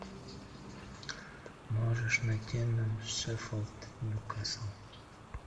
можешь найти нам шеффилд ньюкасл